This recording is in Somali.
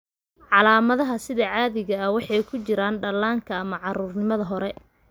Calaamadaha sida caadiga ah waxay ku jiraan dhallaanka ama carruurnimada hore.